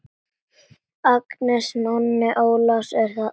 Agnes, Nonni Ólafs er þarna!